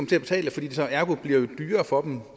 til at betale fordi det så ergo bliver dyrere for dem